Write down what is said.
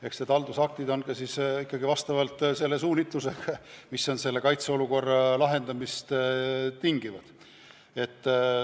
Eks need haldusaktid on ikkagi selle suunitlusega, mida tingib vajadus kaitseolukord lahendada.